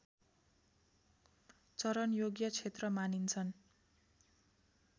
चरनयोग्य क्षेत्र मानिन्छन्